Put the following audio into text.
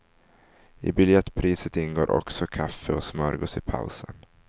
I biljettpriset ingår också kaffe och smörgås i pausen.